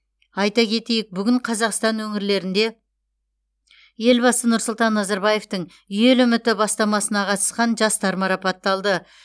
айта кетейік бүгін қазақстан өірлерінде елбасы нұрсұлтан назарбаевтың ел үміті бастамасына қатысқан жастар марапатталды